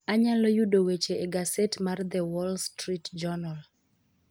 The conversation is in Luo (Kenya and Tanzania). Anyalo yudo weche e gaset mar The Wall Street Journal